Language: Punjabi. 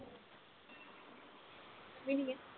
ਮਿਣੀਏ